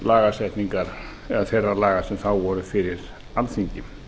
lagasetningar eða þeirra laga sem þá voru fyrir alþingi